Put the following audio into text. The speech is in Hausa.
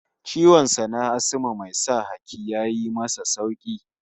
Ciwon sa na Asma mai sa haki ya yi masa sauki